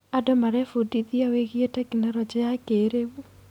Andũ marebundithia wĩgiĩ tekinoronjĩ ya kĩrĩu.